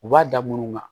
U b'a da munnu kan